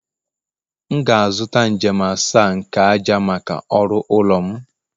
M ga-azụta njem asaa nke ájá maka ọrụ ụlọ m